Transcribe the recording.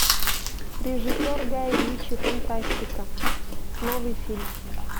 режиссер гай ричи фантастика новый фильм